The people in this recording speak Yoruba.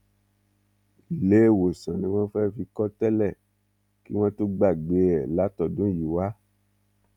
iléewòsàn ni wọn fẹ fi kọ tẹlẹ kí wọn tó gbàgbé ẹ látọdún yìí wá